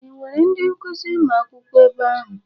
E nwere ndị nkuzi ma akwụkwo ebe ahụ?